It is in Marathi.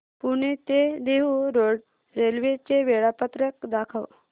पुणे ते देहु रोड रेल्वे चे वेळापत्रक दाखव